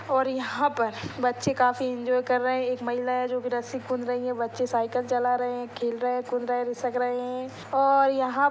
और यहाँ पर बच्चे काफी इन्जॉय कर रहे हैं एक महिला जो की रस्सि कूद रही हैं बच्चे साइकिल चला रहे हैं खेल रहे हैं कूद रहे घिसक रहे हैं और यहाँ--